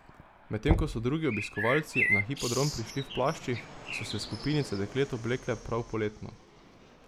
Medtem ko so drugi obiskovalci na hipodrom prišli v plaščih, so se skupinice deklet oblekle prav poletno.